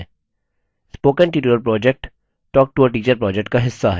spoken tutorial project talktoateacher project का हिस्सा है